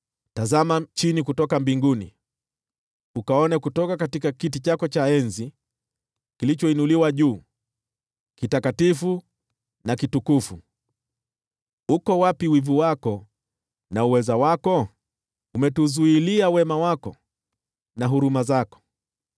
Tazama chini kutoka mbinguni ukaone kutoka kiti chako cha enzi kilichoinuliwa juu, kitakatifu na kitukufu. Uko wapi wivu wako na uweza wako? Umetuzuilia wema wako na huruma zako.